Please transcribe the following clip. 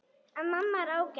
En mamma er ágæt.